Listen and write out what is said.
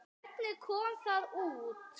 Hvernig kom það út?